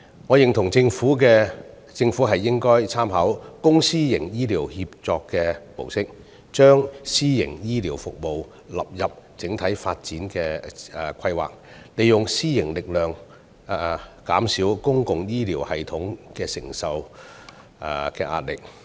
我認同政府應該參考"公私營醫療協作"模式，將私營醫療服務納入整體發展規劃，利用私營力量減少公營醫療系統所承受的壓力。